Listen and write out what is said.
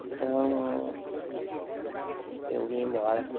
Então, eu vim embora.